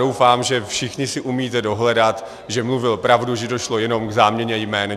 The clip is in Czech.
Doufám, že všichni si umíte dohledat, že mluvil pravdu, že došlo jenom k záměně jmen.